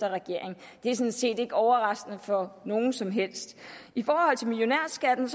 i regering det er sådan set ikke overraskende for nogen som helst i forhold til millionærskatten